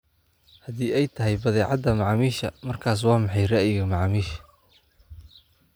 haddii ay tahay badeecada macaamiisha markaas waa maxay ra'yiga macaamiisha